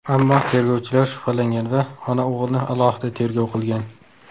Ammo tergovchilar shubhalangan va ona-o‘g‘ilni alohida tergov qilgan.